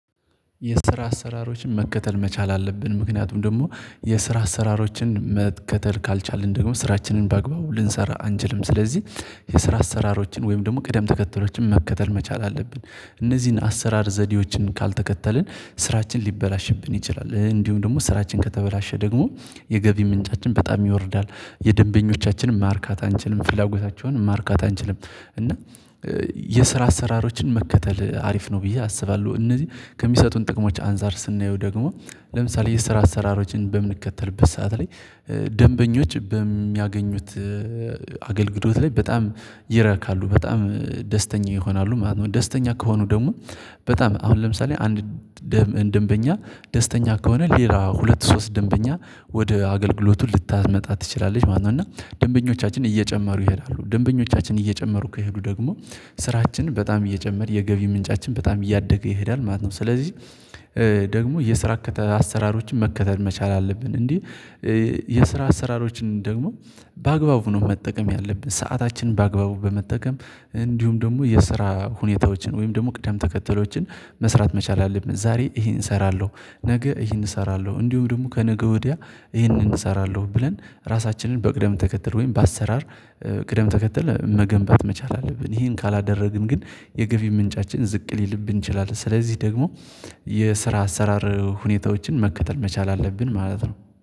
የስራ አሰራሮችን መከተል መቻል አለብን ምክንያቱም ደግሞ የስራ አሰራሮችን መከተል ካልቻልን ደግሞ ስራችንን ባግባቡ ልንሰራ አንችልም ስለዚህ የስራ አሰራሮችን ወይም ደግሞ ቀደም ተከተሎችን መከተል መቻል አለብን። እነዚህን አሰራር ዘዴዎችን ካልተከተልን ስራችን ሊበላሽብን ይችላል እንዲሁም ደግሞ ስራችን ከተበላሸ ደግሞ የገቢ ምንጫችን በጣም ይወርዳል የደንበኞቻችንም ማርካት አንችልም ፍላጎታቸውንም ማርካት አንችልም። እና የስራ አሰራሮችን መከተል አሪፍ ነው ብዬ አስባለሁ። እነዚህ ከሚሰጡን ጥቅሞች አንፃር ስናየው ደግሞ ለምሳሌ የስራ አሰራሮችን በምንከተልበት ሰዓት ላይ ደንበኞች በሚያገኙት አገልግሎት ላይ በጣም ይረካሉ በጣም ደስተኛ ይሆናሉ ማለት ነው። ደስተኛ ከሆኑ ደግሞ በጣም አሁን ለምሳሌ አንድ ደንበኛ ደስተኛ ከሆነ ሌላ ሁለት ሶስት ደንበኛ ወደ አገልግሎቱ ልታመጣ ትችላለች ማለት ነው። እና ደንበኞቻችን እየጨመሩ ይሄዳሉ ደንበኞቻችን እየጨመሩ ከሄዱ ደግሞ ስራችን በጣም እየጨመር የገቢ ምንጫችን በጣም እያደገ ይሄዳል ማለት ነው። ስለዚህ የስራ አሰራሮችን መከተል መቻል አለብን እንዴ? የስራ አሰራሮችን ደግሞ በአግባቡ ነው መጠቀም ያለብን ሰዓታችን በአግባቡ በመጠቀም እንዲሁም ደግሞ የስራ ሁኔታዎችን ወይም ደግሞ ቅደም ተከተሎችን መስራት መቻል አለብን። ዛሬ ይሄን እሰራለሁ ነገ ይሄን እሰራለሁ እንዲሁም ደግሞ ከነገ ወዲያ ይሄንን እሰራለሁ ብለን ራሳችንን በቅደም ተከተል ወይም በአሰራር ቅደም ተከተል መገንባት መቻል አለብን። ይሄን ካላደረግን ግን የገቢ ምንጫችን ዝቅ ሊልብን ይችላል። ስለዚህ ደግሞ የስራ አሰራር ሁኔታዎችን መከተል መቻል አለብን ማለት ነው